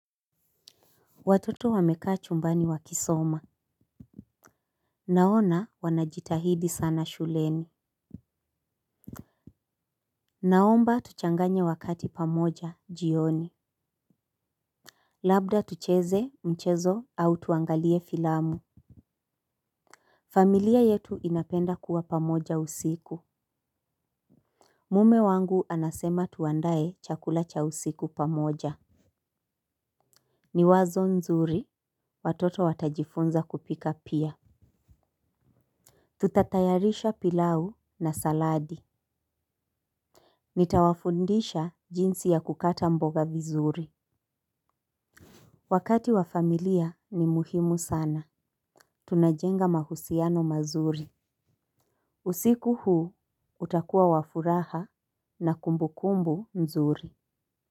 Watoto wamekaa chumbani wakisoma. Naona wanajitahidi sana shuleni. Naomba tuchanganye wakati pamoja jioni. Labda tucheze mchezo au tuangalie filamu. Familia yetu inapenda kuwa pamoja usiku. Mume wangu anasema tuandae chakula cha usiku pamoja. Niwazo nzuri watoto watajifunza kupika pia Tutatayarisha pilau na saladi. Nitawafundisha jinsi ya kukata mboga vizuri. Wakati wa familia ni muhimu sana. Tunajenga mahusiano mazuri. Usiku huu utakuwa wa furaha na kumbu kumbu mzuri.